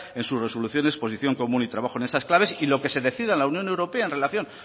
en su resolución de exposición común y trabajo en esas claves y lo que se decida en la unión europea en relación